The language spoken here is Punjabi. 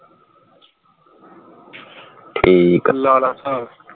ਠੀਕ ਹਾ ਲਾ ਲਾ ਸਾਹਬ